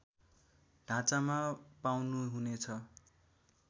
ढाँचामा पाउनुहुनेछ